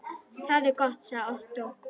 Það er gott sagði Ottó.